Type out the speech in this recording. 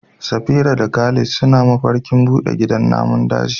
Safira da Khalid suna mafarkin bude gidan namun daji.